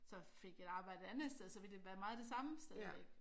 Så fik et arbejde et andet sted så ville det være meget det samme stadigvæk